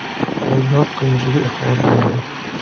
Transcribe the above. Aybdor qilmishiga iqror bo‘ldi.